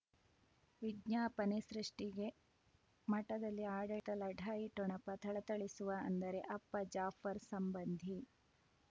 ವಿಜ್ಞಾಪನೆ ಸೃಷ್ಟಿಗೆ ಮಠದಲ್ಲಿ ಆಡಳಿತ ಲಢಾಯಿ ಠೊಣಪ ಥಳಥಳಿಸುವ ಅಂದರೆ ಅಪ್ಪ ಜಾಫರ್ ಸಂಬಂಧಿ